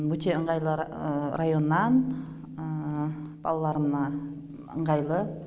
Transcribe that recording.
өте ыңғайлы районнан балаларыма ыңғайлы